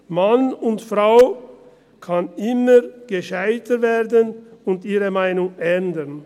Man und frau kann immer gescheiter werden und ihre Meinung ändern.